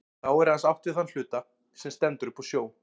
Þá er aðeins átt við þann hluta, sem stendur upp úr sjó.